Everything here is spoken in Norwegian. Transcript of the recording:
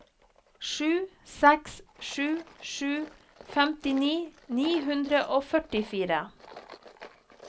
sju seks sju sju femtini ni hundre og førtifire